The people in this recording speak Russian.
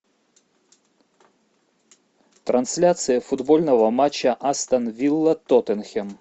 трансляция футбольного матча астон вилла тоттенхэм